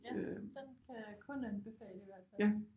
Ja den kan jeg kun anbefale i hvert fald